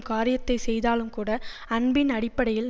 காரியத்தை செய்தாலும்கூட அன்பின் அடிப்படையில்